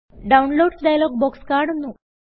downloads dialog box കാണുന്നു